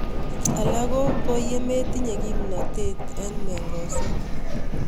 Alak ko ko ye metinye kimnatet eng'mongosek